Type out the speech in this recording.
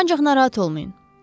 Ancaq narahat olmayın.